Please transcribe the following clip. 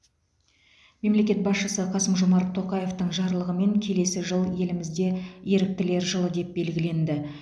мемлекет басшысы қасым жомарт тоқаевтың жарлығымен келесі жыл елімізде еріктілер жылы деп белгіленді